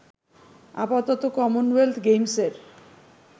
আপাতত কমনওয়েলথ গেমসের